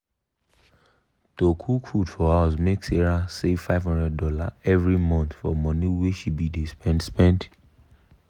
to cook food for house make sarah save five hundred dollars every month for money wey she be dey spend. spend.